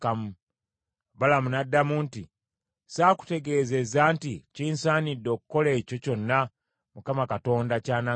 Balamu n’addamu nti, “Saakutegeezezza nti kinsaanidde okukola ekyo kyonna Mukama Katonda ky’anaagamba?”